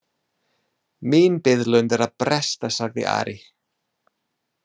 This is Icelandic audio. Mín biðlund er að bresta, sagði Ari.